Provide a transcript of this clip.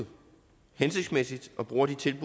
indtil det